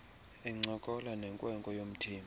encokola nenkwenkwe yomthembu